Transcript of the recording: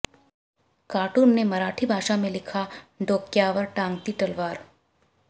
cartoon में मराठी भाषा में लिखा डोक्यावर टांगती तलवार